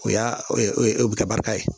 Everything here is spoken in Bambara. O y'a e e o bi kɛ barika ye